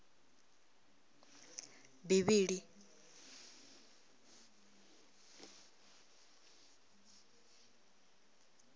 bivhili